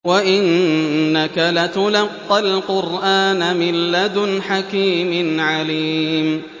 وَإِنَّكَ لَتُلَقَّى الْقُرْآنَ مِن لَّدُنْ حَكِيمٍ عَلِيمٍ